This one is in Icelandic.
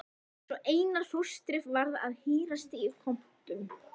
Svo Einar fóstri varð að hírast í kompum.